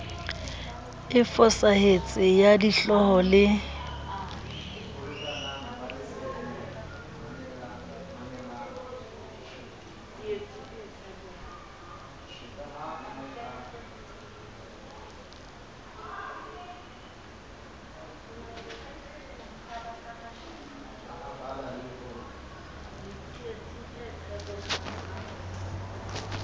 e fosahetseng ya dihlooho le